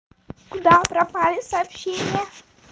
куда пропали сообщения